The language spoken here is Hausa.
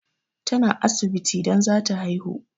Ta na asibiti don zata haihu